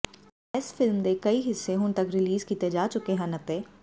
ਇਸ ਫਿਲਮ ਦੇ ਕਈ ਹਿੱਸੇ ਹੁਣ ਤੱਕ ਰਿਲੀਜ਼ ਕੀਤੇ ਜਾ ਚੁੱਕੇ ਹਨ ਅਤੇ